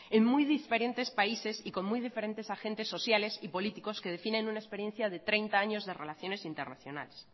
en muy diferentes países y con muy diferentes agentes sociales y políticos que definen una experiencia de treinta años de relaciones internacionales